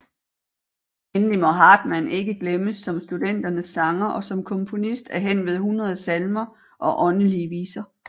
Endelig må Hartmann ikke glemmes som studenternes sanger og som komponist af henved 100 salmer og åndelige viser